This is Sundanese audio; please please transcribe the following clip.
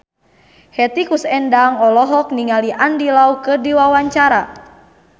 Hetty Koes Endang olohok ningali Andy Lau keur diwawancara